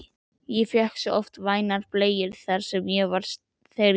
Ég fékk oft vænar bleikjur þar, þegar ég var strákur